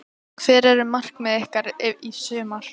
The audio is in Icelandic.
Hver eru markmið ykkar í sumar?